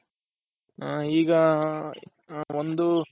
ಈಗ ಒಂದು